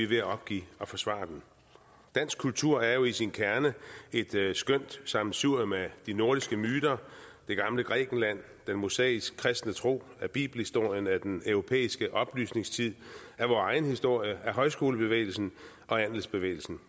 ved at opgive at forsvare den dansk kultur er jo i sin kerne et skønt sammensurium af de nordiske myter det gamle grækenland den mosaisk kristne tro af bibelhistorien af den europæiske oplysningstid af vor egen historie af højskolebevægelsen og andelsbevægelsen